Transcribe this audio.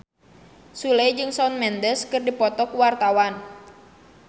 Sule jeung Shawn Mendes keur dipoto ku wartawan